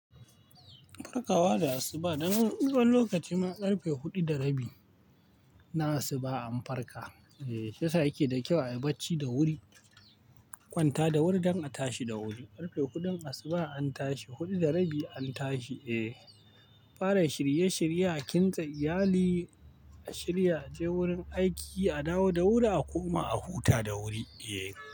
Farkawa da asuba, dan wani lokaci ma ƙarfe huɗu da rabi na asuba an farka. Eh, shiyasa yake da kyau a yi bacci da wuri, kwanta da wuri don a tashi da wuri. Ƙarfe huɗun asuba an tashi, huɗu da rabi an tashi. Eh, fara shirye-shirye a kintsa iyali, a shirya a je wurin aiki, a dawo da wuri, a koma a huta da wuri. Eh.